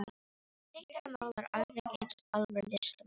Hún teiknar og málar alveg eins og alvöru listamaður.